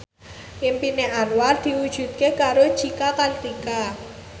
impine Anwar diwujudke karo Cika Kartika